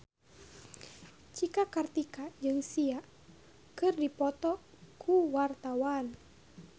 Cika Kartika jeung Sia keur dipoto ku wartawan